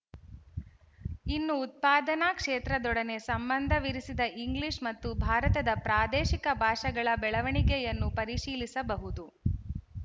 ಇನ್ನು ಉತ್ಪಾದನಾ ಕ್ಷೇತ್ರದೊಡನೆ ಸಂಬಂಧವಿರಿಸಿದ ಇಂಗ್ಲೀಶ ಮತ್ತು ಭಾರತದ ಪ್ರಾದೇಶಿಕ ಭಾಷೆಗಳ ಬೆಳವಣಿಗೆಯನ್ನು ಪರಿಶೀಲಿಸಬಹುದು